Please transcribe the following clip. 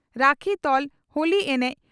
ᱨᱟᱹᱠᱷᱤ ᱛᱚᱞ ᱦᱳᱞᱤ ᱮᱱᱮᱡ